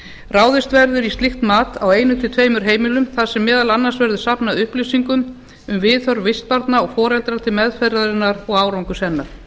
ráðist verður í slíkt mat á einum til tveimur heimilum þar sem meðal annars verður safnað upplýsingum um viðhorf vistbarna og foreldra til meðferðarinnar og árangurs hennar